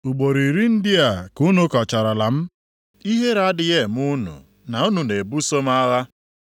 Ugboro iri ndị a ka unu kọcharala m, ihere adịghị eme unu na unu na-ebuso m agha?